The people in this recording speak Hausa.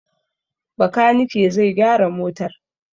Bakanike zai gyara motar.